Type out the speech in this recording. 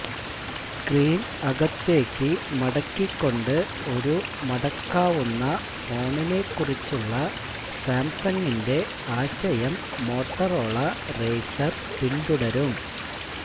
screen അകത്തേക്ക് മടക്കിക്കൊണ്ട് ഒരു മടക്കാവുന്ന ഫോണിനെക്കുറിച്ചുള്ള സാംസങ്ങിന്റെ ആശയം മോട്ടറോള റേസർ പിന്തുടരും